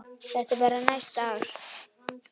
Þetta er bara næsta ár.